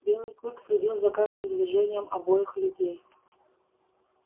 белый клык следил за каждым движением обоих людей